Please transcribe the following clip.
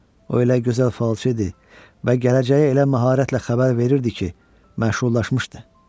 O elə gözəl falçı idi və gələcəyi elə məharətlə xəbər verirdi ki, məşhurlaşmışdı.